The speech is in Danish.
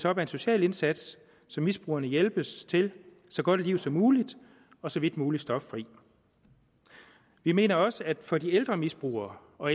op af en social indsats så misbrugerne hjælpes til så godt et liv som muligt og så vidt muligt stoffrit vi mener også at for de ældre misbrugere og